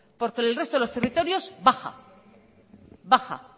porque en el resto de los territorios baja baja